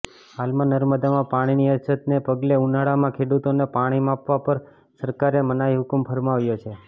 હાલમાં નર્મદામાં પાણીની અછતને પગલે ઉનાળામાં ખેડૂતોને પાણી આપવા પર સરકારે મનાઈહૂકમ ફરમાવ્યો છે